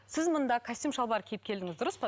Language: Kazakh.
сіз мұнда костюм шалбар киіп келдіңіз дұрыс па